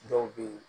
Dɔw be ye